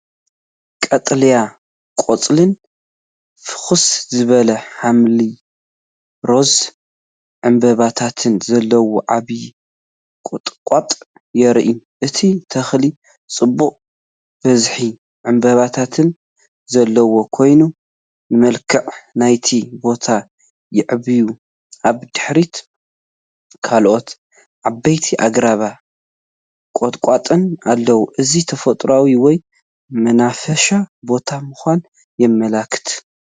ቀጠልያ ቆጽልን ፍኹስ ዝበለ ሐምላይ/ሮዛ ዕምባባታትን ዘለዎ ዓቢ ቁጥቋጥ ይርአ። እቲ ተኽሊ ጽዑቕን ብዝሒ ዕምባባታት ዘለዎን ኮይኑ፡ ንመልክዕ ናይቲ ቦታ የዕብዮ። ኣብ ድሕሪት ካልኦት ዓበይቲ ኣግራብን ቁጥቋጥን ኣለዉ፡ እዚ ተፈጥሮኣዊ ወይ መናፈሻ ቦታ ምዃኑ የመልክት።